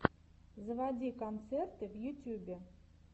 заводи концерты в ютьюбе